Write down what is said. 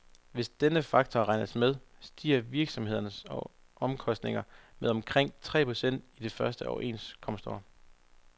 Hvis denne faktor regnes med, stiger virksomhedernes omkostninger med omkring tre procent i det første overenskomstår.